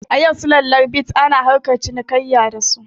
A yau sulallar bit ana harkar cinikayya da su